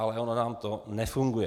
Ale ono nám to nefunguje.